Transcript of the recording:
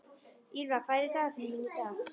Ýlfa, hvað er í dagatalinu mínu í dag?